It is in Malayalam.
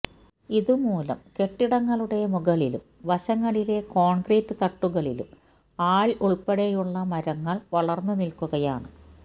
ഇതു മൂലം കെട്ടിടങ്ങളുടെ മുകളിലും വശങ്ങളിലെ കോണ്കൃറ്റ് തട്ടുകളിലും ആല് ഉള്പ്പെടെയുള്ള മരങ്ങള് വളര്ന്ന് നില്ക്കുകയാണ്